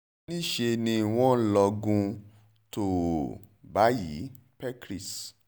níṣẹ́ ni wọ́n lọgun tòò báyìí pécrís